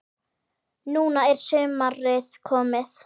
Núna er sumarið komið.